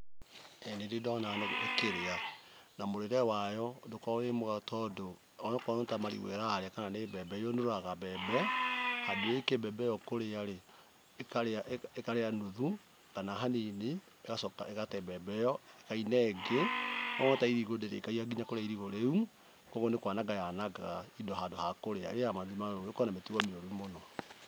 ĩĩ nĩ ndĩ ndona nũgũ ĩkĩrĩa. Na mũrĩre wayo ndũkoragwo wĩ mwega tondũ, onokorwo nĩ ta marigũ ĩrarĩa kana nĩ mbembe, yũnũraga mbembe handũ ĩrĩkie mbembe ĩyo kũrĩa rĩ, ĩkarĩa nuthu kana hanini ĩgacoka ĩgate mbembe ĩyo ĩkauna ĩngĩ. O ta irigũ ndĩrĩkagia kũrĩa irigũ rĩu, koguo nĩ kwananga yanangaga indo handũ ha kũrĩa. ĩrĩaga manuthu manuthu, ĩkoragwo na mĩtugo mĩũru mũno.